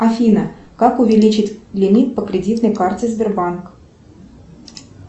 афина как увеличить лимит по кредитной карте сбербанк